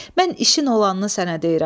Mən işin olanını sənə deyirəm.